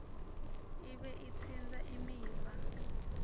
ibe itsintsa imiva